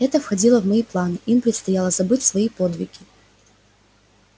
это входило в мои планы им предстояло забыть свои подвиги